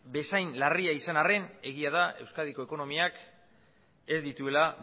bezain larria izan arren egia da euskadiko ekonomiak ez dituela